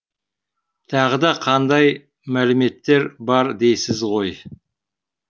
тағы да қандай мәліметтер бар дейсіз ғой